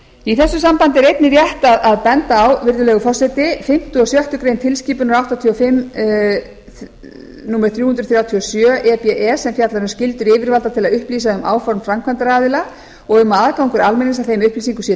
í þessu sambandi er einnig rétt að benda á virðulegur forseti fimmta og sjöttu grein tilskipunar áttatíu og fimm númer þrjú hundruð þrjátíu og sjö e b e sem fjallar um skyldur yfirvalda til að upplýsa um áform framkvæmdaraðila og að aðgangur almennings að þeim upplýsingum sé